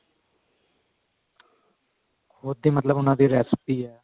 ਕੁਦ ਦੀ ਮਤਲਬ ਉਹਨਾ ਦੇ recipe ਹੈ